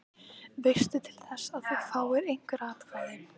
Veistu til þess að þú fáir einhver atkvæði?